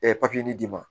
papiye nin d'i ma